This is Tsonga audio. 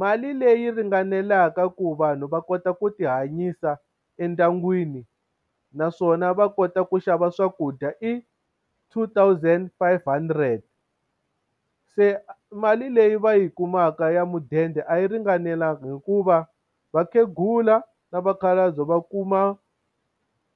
mali leyi ringanelaka ku vanhu va kota ku ti hanyisa endyangwini, naswona va kota ku xava swakudya i two thousand five hundred. Se mali leyi va yi kumaka ya mudende a yi ringanelanga hikuva vakhegula na vakhalabye va kuma